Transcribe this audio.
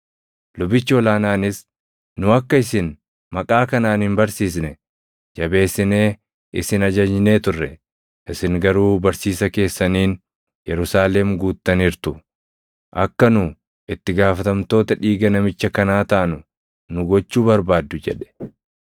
Lubichi ol aanaanis, “Nu akka isin maqaa kanaan hin barsiisne jabeessinee isin ajajnee turre; isin garuu barsiisa keessaniin Yerusaalem guuttaniirtu; akka nu itti gaafatamtoota dhiiga namicha kanaa taanu nu gochuu barbaaddu” jedhe.